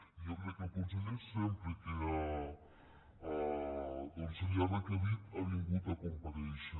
i jo crec que el conseller sempre que se li ha requerit ha vingut a comparèixer